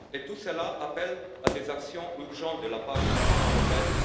Tout cela appelle des actions urgentes de la part de l'Union européenne.